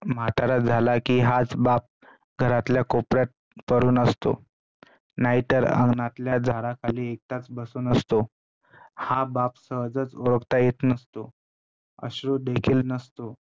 म्हातारा झाला कि हाच बाप घरातल्या कोपऱ्यात पडून असतो नाही तर अंगणातल्या झाडाखाली एकटाच बसून असतो. हा बाप सहजच ओळखता येत नसतो, आश्रितदेखील नसतो,